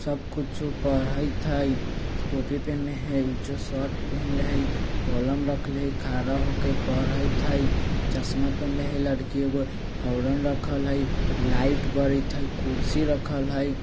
सब कुछु पढ़इत हई टोपी पेहेनले हई उजर शर्ट पेहनले हई कलम रखले हई खाड़ा हो के पढ़इत हई चश्मा पहेनले हई लड़की एगो हॉर्न रखल हई लाइट बरइत हई कुर्सी रखल हई।